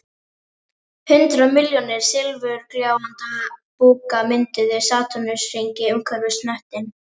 Hundrað milljónir silfurgljáandi búka mynduðu satúrnusarhring umhverfis hnöttinn